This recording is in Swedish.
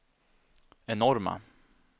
enorma